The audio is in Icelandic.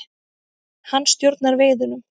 Hann stjórnar veiðunum.